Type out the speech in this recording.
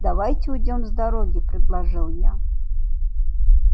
давайте уйдём с дороги предложил я